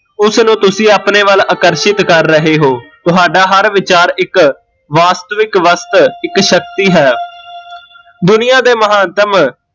ਉਸ ਨੂ ਤੁਸੀਂ ਆਪਣੇ ਵੱਲ ਆਕਰਸ਼ਿਤ ਕਰ ਰਹੇ ਹੋ, ਤੁਹਾਡਾ ਹਰ ਵਿਚਾਰ ਇੱਕ ਵਾਸਤਵਿਕ ਵਸਤ ਇੱਕ ਸ਼ਕਤੀ ਹੈ ਦੁਨੀਆ ਦੇ ਮਹੱਤਵ